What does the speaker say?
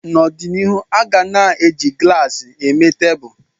N'ọdịnihu, a ga na-eji glaasị eme tebụl